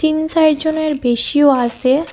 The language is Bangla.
তিন চাইর জনের বেশিও আসে ।